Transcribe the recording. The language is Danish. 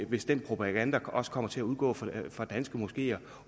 hvis den propaganda også kommer til at udgå fra danske moskeer